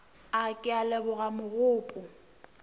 a ke a leboga mogopo